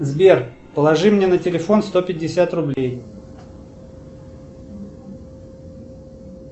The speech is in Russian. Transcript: сбер положи мне на телефон сто пятьдесят рублей